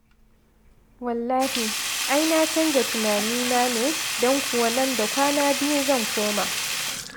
Wallahi, ai na canja tunanina ne don kuwa nan da kwana biyu zan koma.